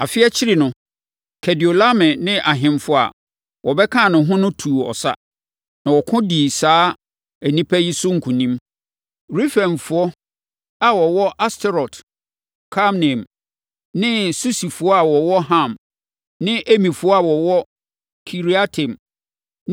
Afe akyiri no, Kedorlaomer ne ahemfo a wɔbɛkaa ne ho no tuu ɔsa. Na wɔko dii saa nnipa yi so nkonim: Refaimfoɔ, + 14.5 Refaimfoɔ asekyerɛ ne “nnipa abrane.” a wɔwɔ Asterot-Karnaim ne Susifoɔ a wɔwɔ Ham ne Emifoɔ a wɔwɔ Kiriataim